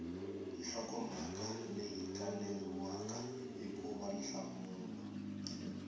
nhlokomhaka leyi kaneriwaka hikuva nhlamulo